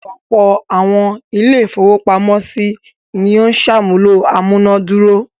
Ọ̀pọ̀ àwọn ilé-ìfowópamọ́sí ni ó ń ṣàmúlò amúná dúró.